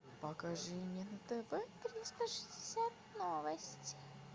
покажи мне на тв триста шестьдесят новости